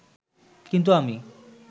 কিন্তু আমি